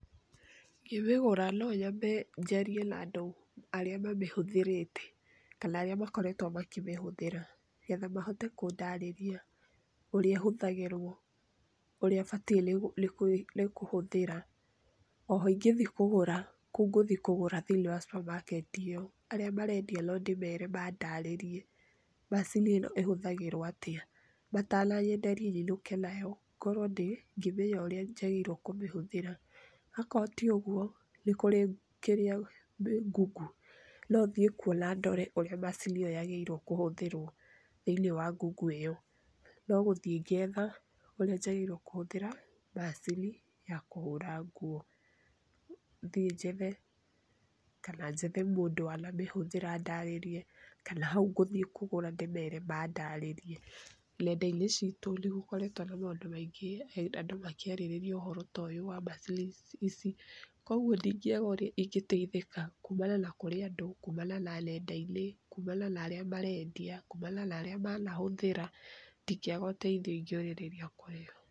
Ngĩmĩgũra nonyambe njarie na andũ arĩa mamĩhũthĩrĩte kana arĩa makoretwo makĩmĩhũthĩra, getha mahote kũndarĩria ũrĩa ĩhũthagĩrwo, ũrĩa bataire kũhũthĩra. Oho ingĩthiĩ kũgũra, kũu ngũthiĩ kũgũra thĩinĩ wa subamaketi ĩyo arĩa marendia nondĩmere mandarĩrie macini ĩhũthagĩrwo atĩa, matananyenderia nyinũke nayo ngorwo ngĩmenya ũrĩa njagĩrĩirwo kũmĩhũthĩra. Hakorwo ti ũguo nĩkũrĩ ngungu, nothiĩ kuo na ndore ũrĩa macini ĩyo yagĩrĩire kũhũthĩrwo thĩiniĩ wa ngungu ĩyo nogũthiĩ ngetha ũrĩa njagĩrĩirwo kũthĩra macini ya kũhũra nguo, thiĩ njethe kana njethe mũndũ wanamĩhũthĩra andarĩrie, kana hau ngũthiĩ kũgũra ndĩmere mandarĩrie. Nenda-inĩ citũ nĩgũkoretwo na maũndũ maingĩ andũ makĩarĩrĩria ũhoro ta ũyũ wa macini ici, kwoguo ndingĩaga ũrĩa ingĩteithĩka kumana na kũrĩ andũ, kumana na nendainĩ, kumana na arĩa marendia, kumana na arĩa manahũthĩra ndingĩaga ũteithio ingĩũrĩrĩria kũrĩo.